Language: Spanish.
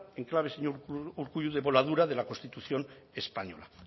en clave señor urkullu de voladura de la constitución española